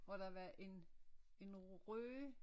Og der var en rø